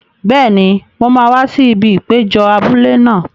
Bẹ́ẹ̀ni, mo máa wá sí ibi ìpéjọ abúlé náà.